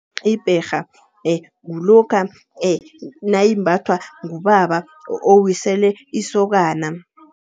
Ibherha kulokha nayimbathwa ngubaba owisele isokana.